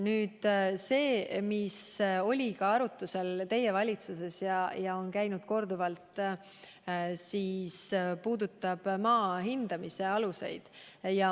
See eelnõu, mis oli arutusel ka teie valitsuses ja millest korduvalt on juttu olnud, puudutab maa hindamise aluseid.